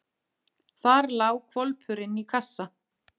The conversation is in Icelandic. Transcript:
Þar lá hvolpurinn í kassa.